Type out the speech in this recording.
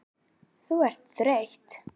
Þú ert þreytt.